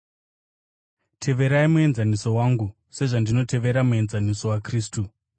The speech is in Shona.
Teverai muenzaniso wangu, sezvandinotevera muenzaniso waKristu.